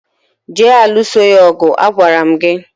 je alụso ya ọgụ. Agwara m gị!